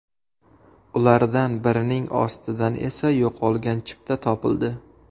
Ulardan birining ostidan esa yo‘qolgan chipta topildi.